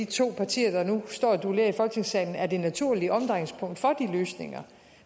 to partier der nu står og duellerer i folketingssalen er det naturlige omdrejningspunkt for de løsninger